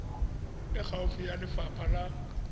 e gaufi ya lefapha la